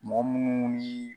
Mɔgɔ munnu ni